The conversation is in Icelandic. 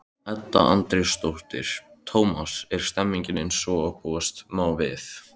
Edda Andrésdóttir: Tómas, er stemningin eins og búast má við?